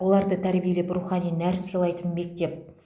оларды тәрбиелеп рухани нәр сыйлайтын мектеп